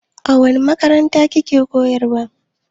A wani makaranta ki ke koyarwa?